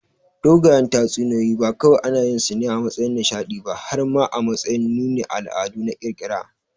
Dogayen tatsuniyoyi ba kawai anayinsu ne a matsayin nishaɗi ba har ma a matsayin nunin al'adu na ƙirƙira.